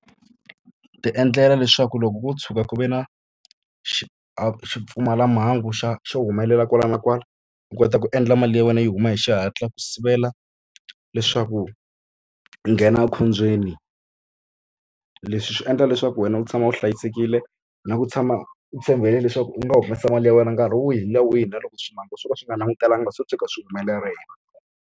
Ti endlela leswaku loko ko tshuka ku ve na xipfumalamhangu xa xo humelela kwala na kwala, u kota ku endla mali ya wena yi huma hi xihatla ku sivela leswaku nghena ekhombyeni. Leswi swi endla leswaku wena u tshama u hlayisekile, na ku tshama u tshembele leswaku u nga humesa mali ya wena nkarhi wihi na wihi na loko swo ka swi nga langutelanga swo tshuka swi humelerile.